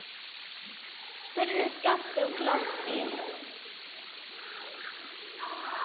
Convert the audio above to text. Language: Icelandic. spurði Skapti og glotti.